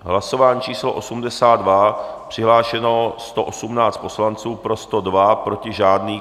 Hlasování číslo 82, přihlášeno 118 poslanců, pro 102, proti žádný.